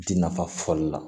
Di nafa fɔli la